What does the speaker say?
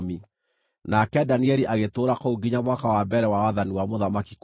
Nake Danieli agĩtũũra kũu nginya mwaka wa mbere wa wathani wa Mũthamaki Kurusu.